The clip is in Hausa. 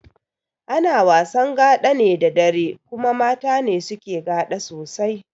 Ana wasan gaɗa ne da dare kuma mata ne suke gaɗa sosai